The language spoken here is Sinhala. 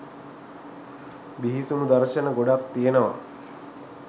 බිහිසුණු දර්ශන ගොඩාක් තියනවා